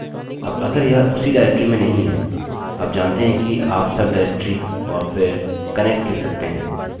अब अगर यह उसी डाइरेक्टरी में नहीं है आप जानते हैं कि आप sub directory और फिर connect लिख सकते हैं